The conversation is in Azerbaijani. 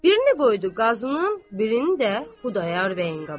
birini qoydu Qazının, birini də Xudayar bəyin qabağına.